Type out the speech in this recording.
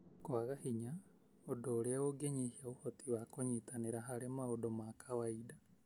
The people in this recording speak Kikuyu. kwaga hinya, ũndũ ũrĩa ũngĩnyihia ũhoti wa kũnyitanĩra harĩ maũndũ ma kawainda.